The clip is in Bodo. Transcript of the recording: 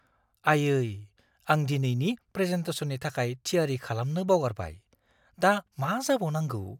आयै! आं दिनैनि प्रेजेन्टेशननि थाखाय थियारि खालामनो बावगारबाय। दा मा जाबावनांगौ!